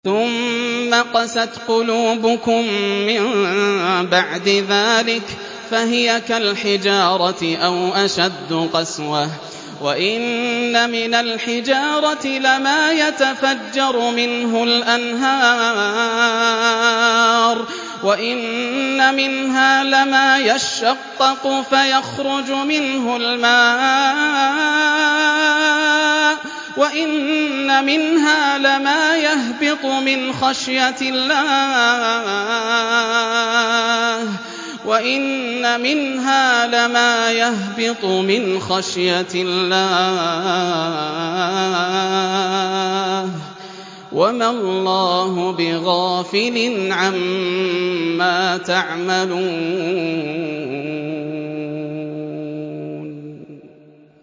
ثُمَّ قَسَتْ قُلُوبُكُم مِّن بَعْدِ ذَٰلِكَ فَهِيَ كَالْحِجَارَةِ أَوْ أَشَدُّ قَسْوَةً ۚ وَإِنَّ مِنَ الْحِجَارَةِ لَمَا يَتَفَجَّرُ مِنْهُ الْأَنْهَارُ ۚ وَإِنَّ مِنْهَا لَمَا يَشَّقَّقُ فَيَخْرُجُ مِنْهُ الْمَاءُ ۚ وَإِنَّ مِنْهَا لَمَا يَهْبِطُ مِنْ خَشْيَةِ اللَّهِ ۗ وَمَا اللَّهُ بِغَافِلٍ عَمَّا تَعْمَلُونَ